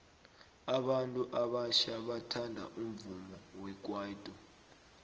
abantu abatjha bathanda umvumo wekwaito